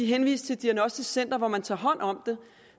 henvist til et diagnostisk center hvor man tager hånd om det